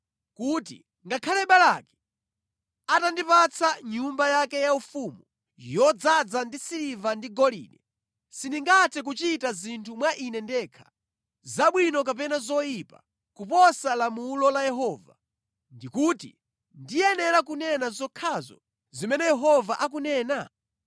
kuti ngakhale Balaki atandipatsa nyumba yake yaufumu yodzaza ndi siliva ndi golide sindingathe kuchita zinthu mwa ine ndekha, zabwino kapena zoyipa, kuposa lamulo la Yehova ndi kuti ndiyenera kunena zokhazo zimene Yehova akunena?